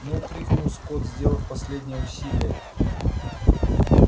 ну крикнул скотт сделав последнее усилие